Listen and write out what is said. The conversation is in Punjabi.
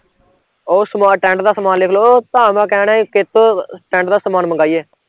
ਓਹ ਸਮਾਨ tent ਦਾ ਸਮਾਨ ਲਿਖਲੋ ਭਾ ਮੈਂ ਕਹਿਣਾ ਸੀ ਕਿਹਤੋਂ tent ਦਾ ਸਮਾਨ ਮਗਾਈਏ